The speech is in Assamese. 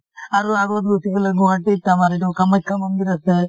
আৰু আগত ৰখি পেলাই গুৱাহাটী ত আমাৰ ইটো কামাখ্যা মন্দিৰ আছে।